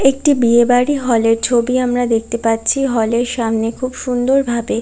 একটি বিয়েবাড়ি হলের ছবি আমরা দেখতে পাচ্ছি হল সামনে খুব সুন্দর ভাবে--